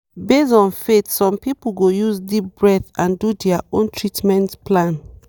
based on faith some people go use deep breath and do their own treatment plan.